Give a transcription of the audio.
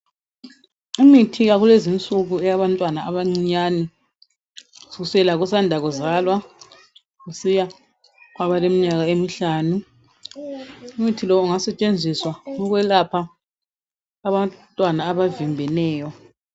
Imithi yakulezinsuku eyabantwana abancinyane kusukisela kosanda kuzalwa kusiya kwabaleminyaka emihlanu umuthi lo ungasetshenziswa ukwelapha abantwana abavimbeneyo.